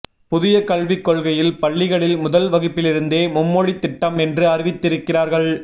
புதிய கல்விக் கொள்கையில் பள்ளிகளில் முதல் வகுப்பிலிருந்தே மும்மொழித் திட்டம் என்று அறிவித்திருக்கிறார்கள்